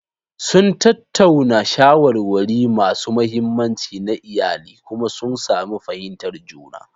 Sun tattauna shawarwari masu muhimmanci na iyali kuma sun sami fahimtar juna.